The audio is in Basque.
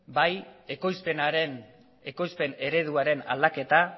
bai ekoizpen ereduaren aldaketa